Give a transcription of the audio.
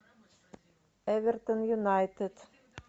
эвертон юнайтед